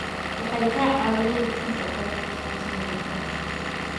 Waxay ka caawiyaan bixinta aqoonta ku saabsan waaritaanka.